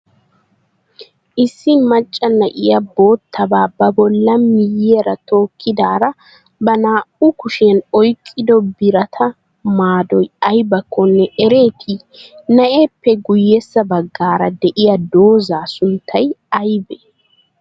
Issi maccaa na'iya boottaba ba bollan miyyiyaraa tokkidara ba naa''u kushiyan oyqqido biraata maadoy aybakkonne ereeti? Naa'eppe guyyessa baggara de'iya dooza sunttay aybee?